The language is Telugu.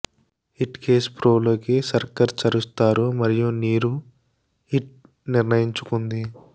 హిట్కేస్ ప్రో లోకి సక్కర్ చరుస్తారు మరియు నీరు హిట్ నిర్ణయించుకుంది